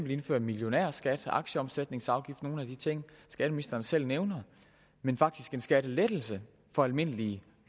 vi indføre en millionærskat og en aktieomsætningsafgift altså nogle af de ting skatteministeren selv nævner men faktisk også en skattelettelse for almindelige